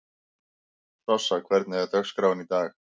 Sossa, hvernig er dagskráin í dag?